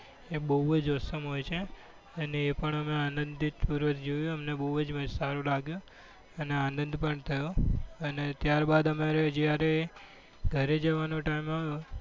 એ બહુ જ awesome હોય છે અને એ પણ અમે આનંદિત પૂર્વક જોયું અને અમને ખૂબ જ સારું લાગ્યું અને આનંદ પણ થયો અને ત્યારબાદ અમારો જ્યારે ઘરે જવાનો time આવ્યો.